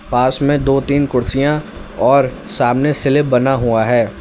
पास में दो तीन कुर्सियां और सामने स्लैब बना हुआ है।